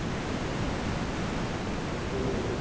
हम्म हम्म